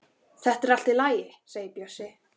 Þetta er allt í lagi segir Bjössi.